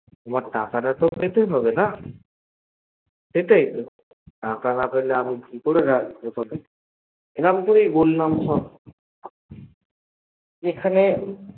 তোমার টাকা তাতো পেতে হবে না সেটাই তো টাকা না পেলে আমি কিকরে রাখবো তোকে এরম করেই বললাম সব এখানে